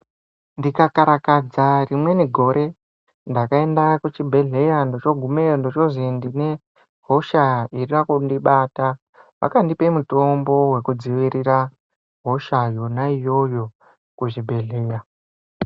Ndikakarakadza rimweni gore ndakainda kuchibhedhleya ndochoogumeyo ndochoozi ndine hosha inoda kundibata. Vakandipe mutombo wekudzivirira hosha yona iyoyo kuchibhedhleya.